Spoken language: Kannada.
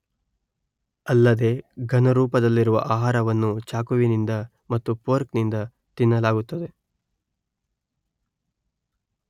ಅಲ್ಲದೇ ಘನರೂಪದಲ್ಲಿರುವ ಆಹಾರವನ್ನು ಚಾಕುವಿನಿಂದ ಮತ್ತು ಫೋರ್ಕ್ ನಿಂದ ತಿನ್ನಲಾಗುತ್ತದೆ